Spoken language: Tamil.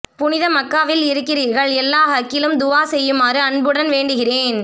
புனித மக்காவில் இருக்கிறீர்கள் எல்லார் ஹக்கிலும் துவா செய்யுமாறு அன்புடன் வேண்டுகிறேன்